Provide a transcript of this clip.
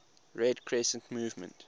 red crescent movement